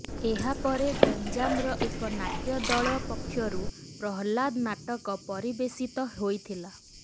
ଏହାପରେ ଗଞ୍ଜାମର ଏକ ନାଟ୍ୟ ଦଳ ପକ୍ଷରୁ ପ୍ରହ୍ଲାଦ ନାଟକ ପରିବେଷିତ ହୋଇଥିଲା